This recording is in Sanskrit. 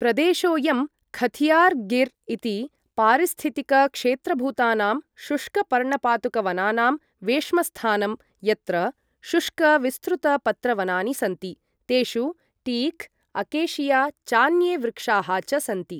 प्रदेशोयं खथियार गिर् इति पारिस्थितिकक्षेत्रभूतानां शुष्कपर्णपातुकवनानां वेश्मस्थानम्, यत्र शुष्क विस्तृतपत्रवनानि सन्ति, तेषु टीक्, अकेशिया चान्ये वृक्षाः च सन्ति।